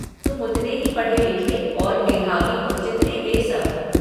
तुम उतने ही पढ़े लिखे और मेधावी हो जीतने वे सब।